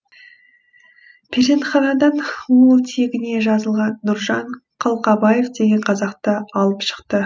перзентханадан ол тегіне жазылған нұржан қалқабаев деген қазақты алып шықты